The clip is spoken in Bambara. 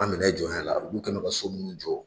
An minɛ jɔnya la olu kɛn bɛ ka so munnu jɔ